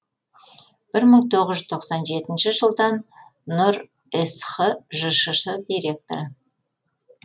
бір мың тоғыз жүз тоқсан жетінші жылдан нұр сх жшс директоры